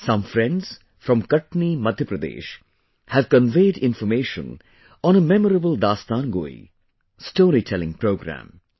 Some friends from Katni, Madhya Pradesh have conveyed information on a memorable Dastangoi, storytelling programme